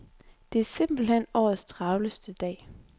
Det er simpelthen årets travleste dag.